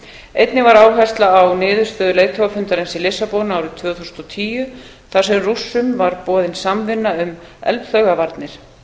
einnig var áhersla á niðurstöðu leiðtogafundarins í lissabon árið tvö þúsund og tíu þar sem rússum var boðin samvinna um eldflaugavarnir